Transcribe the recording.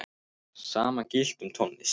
Sama gilti um tónlist.